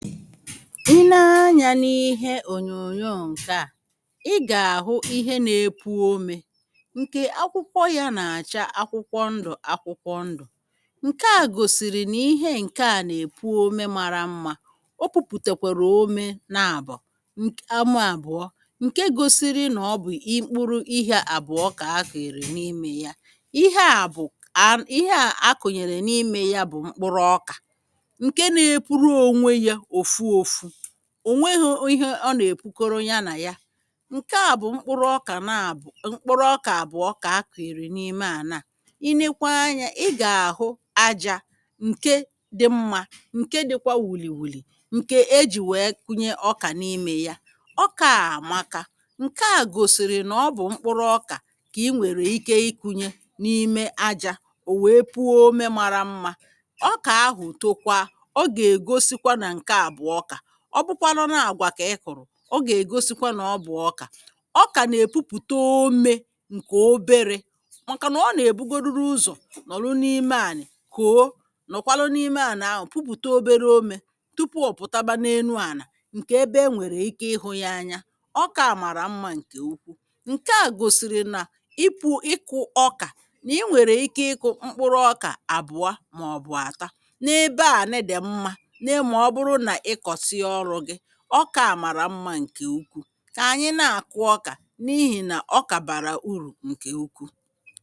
Ị ne anyā n’ihe ònyònyo ǹkè a ị gà-àhụ ihe na-epuo omē ǹkè akwụkwọ yā nà-àcha akwụkwọ ndụ̀ akwụkwọ ndụ̀ ǹkè a gòsìrì nà ihe ǹkè a nà-èpuo ome mara mmā o pupùtèkwèrè ome naàbò nk ama àbụ̀ọ ǹke gosiri nà ọ bụ̀ ịkpụrụ ihe àbụ̀ọ kà akụ̀nyìrì n’imē ya ihe à bụ̀ a ihe à akụ̀nyèrè n’imē ya bụ̀ mkpụrụ ọkà ǹke na-epuru ònwe yā òfu ofu ò nwehọ̄ ihe ọ nà-èpukọrọ ya nà ya ǹkè a bụ̀ mkpụrụ ọkà naàbọ̀ mkpụrụ ọkà àbụ̀ọ kà akụ̀nyèrè n’ime ànà a ị nekwa anyā ị gà-àhụ ajā ǹke dị mmā ǹke dịkwa wùlìwùlì ǹkè ejì wèe kụnye ọkà n’imē ya ọkā à àmaka ǹkè a gòsìrì nà ọ bụ̀ mkpụrụ ọkà kà ị nwèrè ike ịkụ̄nye n’ime ajā ò nwe puo ome mara mmā ọkà ahụ̀ tokwa ọ gà-ègosikwa nà ǹkè a bụ̀ ọkà ọ bụkwanu nà ọ àgwà kà ị kụ̀lụ̀ ọ gà-ègosikwa nà ọ bụ̀ ọkà ọkà nà-èpupùte omē ǹkè oberē màkà nà ọ nà èbugoduru ụzọ̀ nọ̀rụ n’ime ànị̀ kòo nọ̀kwalụ n’ime ànà ahụ̀ pupùte obere omē tupu ọ̀ pùtaba n’enu ànà ǹkè ebe enwèrè ike ịhụ̄ ya anya ọkā à màrà mmā ǹkè ukwu ǹkè a gòsìrì nà ipū ịkụ̄ ọkà nà ị nwèrè ike ịkụ̄ mkpụrụ ọkà àbụ̀ọ màọ̀bụ̀ àta n’ebe ànị dị̀ mmā ne mà ọ bụrụ nà ị kọ̀sịa ọlụ̄ gị ọkā à màrà mmā ǹkè ukwuù kà ànyị nà-àkụ ọkà n’ihì nà ọkà bàrà urù ǹkè ukwuù